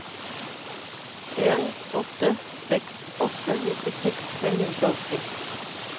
en åtte seks åtte nittiseks fem hundre og åtti